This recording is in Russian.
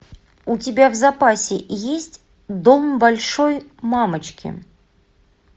у тебя в запасе есть дом большой мамочки